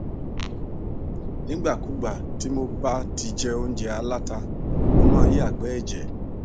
nígbàkúùgbà tí mo bá ti jẹ óúnjẹ aláta mo máa ń yàgbẹ ẹjẹ